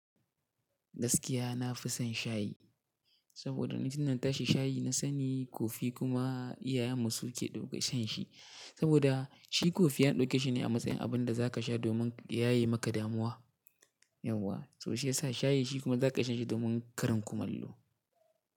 Gaskiya nafison shayi saboda ni tinda na tashi shayi na sani kofi kuma iyayenmu suke dauke shanshi saboda shi kofiyan ɗauke shine a matsayin abinda zakasha domin ya yaye maka damuwa, yawwa to shiyasa shayi shi kuma zaka iya shanshi domin karin kumallo.